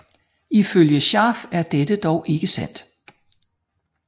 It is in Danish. Ifølge Scharf er dette dog ikke sandt